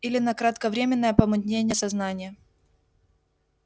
или на кратковременное помутнение сознания